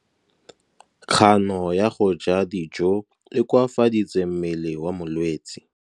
Kganô ya go ja dijo e koafaditse mmele wa molwetse.